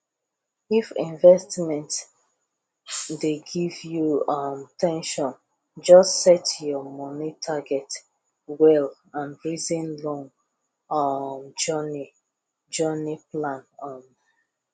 if investment dey give you um ten sion just set your money target well and reason long um journey journey plan um